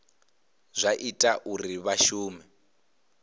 zwa ita uri vha shume